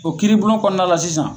O kiiri bulon kɔnɔna la sisan